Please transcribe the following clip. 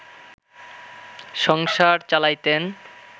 সংসার চালাইতেন